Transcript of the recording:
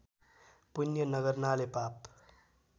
पुण्य नगर्नाले पाप